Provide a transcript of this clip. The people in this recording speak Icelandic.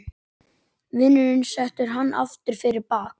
Vinurinn setur hana aftur fyrir bak.